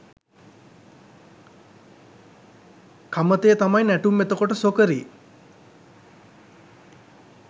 කමතේ තමයි නැටුම් එතකොට සොකරි